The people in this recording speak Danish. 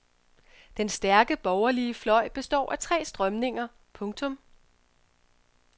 Den stærke borgerlige fløj består af tre strømninger. punktum